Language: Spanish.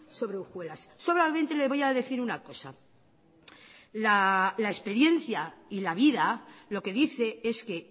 sobre hojuelas solamente le voy a decir una cosa la experiencia y la vida lo que dice es que